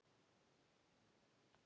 Jón er nú alltaf